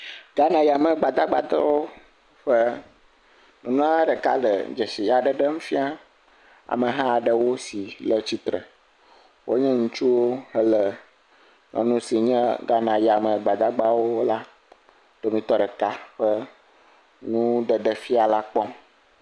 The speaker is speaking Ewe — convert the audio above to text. Ghanayame gbadagbatɔwo ƒe nyɔnua ɖeka le dzesi aɖe ɖem fia ameha aɖewo si le tsitre, wonye ŋutsuwo ele nyɔnu si nye Ghanayame gbadagbawo ƒe domitɔ ɖeka ƒe nu ɖeɖe fia la kpɔm.